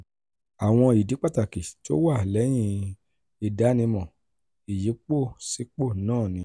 àwọn ìdí pàtàkì tó wà lẹ́yìn ìdánimọ ìyípòsípò náà ni: